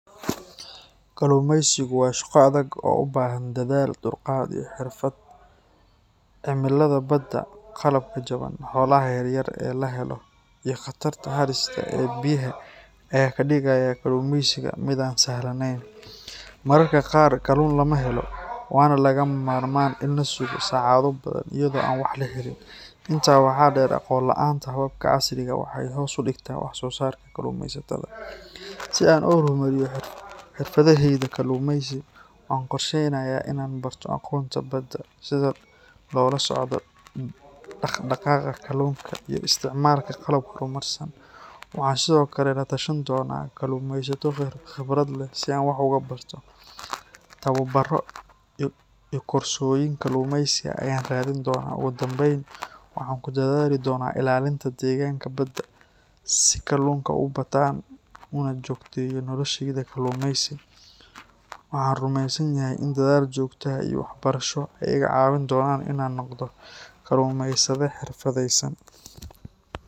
Kalluumaysigu waa shaqo adag oo u baahan dadaal, dulqaad, iyo xirfad. Cimilada badda, qalabka jaban, xoolaha yaryar ee la helo, iyo khatarta halista ah ee biyaha ayaa ka dhigaya kalluumaysiga mid aan sahlaneyn. Mararka qaar kalluun lama helo, waana lagama maarmaan in la sugo saacado badan iyadoo aan wax la helin. Intaa waxaa dheer, aqoon la’aanta hababka casriga ah waxay hoos u dhigtaa wax-soosaarka kalluumaysatada. Si aan u horumariyo xirfaddayda kalluumaysi, waxaan qorsheynayaa in aan barto aqoonta badda, sida loola socdo dhaqdhaqaaqa kalluunka, iyo isticmaalka qalab horumarsan. Waxaan sidoo kale la tashan doonaa kalluumaysato khibrad leh si aan wax uga barto. Tababbarro iyo koorsooyin kalluumaysi ah ayaan raadin doonaa. Ugu dambayn, waxaan ku dadaali doonaa ilaalinta deegaanka badda si kalluunka u bataan una joogteeyo noloshayda kalluumaysi. Waxaan rumeysanahay in dadaal joogto ah iyo waxbarasho ay iga caawin doonaan in aan noqdo kalluumaysade xirfadaysan.